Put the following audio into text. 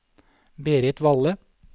Berit Valle